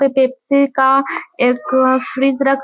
पे पेप्सी का एक फ्रिज रखा --